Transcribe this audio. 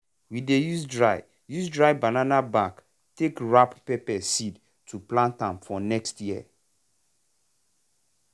we dey use dry use dry banana back take wrap pepper seed to plant am for next year.